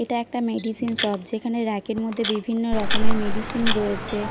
এটা একটা medicine shop যেখানে র‍্যাক এর মধ্যে বিভিন্ন রকমের মেডিসিন রয়েছে।